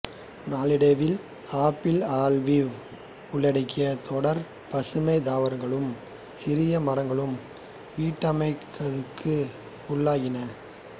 நாளடைவில் apple olive உள்ளங்கிய தொடர்பசுமைத் தாவரங்களும் சிறிய மரங்களும் வீட்டினமாக்கதுக்கு உள்ளாகின